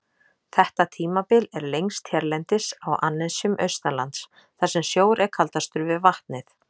Þetta tímabil er lengst hérlendis á annesjum austanlands, þar sem sjór er kaldastur við landið.